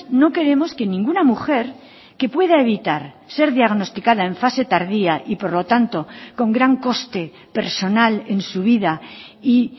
no queremos que ninguna mujer que pueda evitar ser diagnosticada en fase tardía y por lo tanto con gran coste personal en su vida y